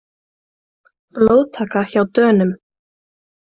Blóðtaka hjá Dönum